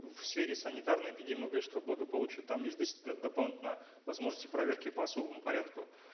в сфере санитарно эпидемиологического благополучия там есть дополнительно возможности проверки по особому порядку